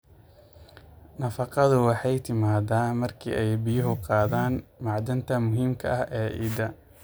Nafaqadu waxay timaaddaa marka ay biyuhu qaadaan macdanta muhiimka ah ee ciidda.